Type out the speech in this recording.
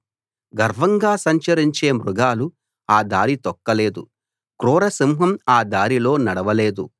గర్వంగా సంచరించే మృగాలు ఆ దారి తొక్కలేదు క్రూర సింహం ఆ దారిలో నడవలేదు